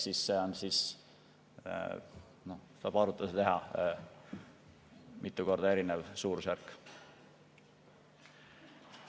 Selle põhjal tuleb arvutusi teha, mitu korda erinev suurusjärk on.